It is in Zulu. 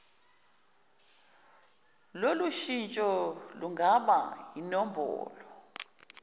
lolushintsho lungaba yinombholo